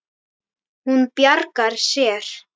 Hún bjargar sér.